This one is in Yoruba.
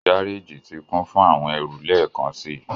Gareji ti kun fun awọn ẹru lẹẹkansi